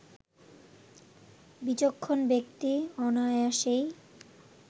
বিচক্ষণ ব্যক্তি অনায়াসেই